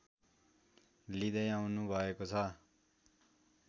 लिँदै आउनुभएको छ